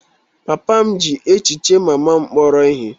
Papa m ji echiche mama m kpọrọ ihe.